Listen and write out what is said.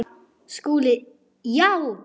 SKÚLI: Já!